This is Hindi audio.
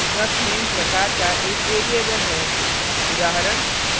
struct _ var struc _ name प्रकार का एक variable है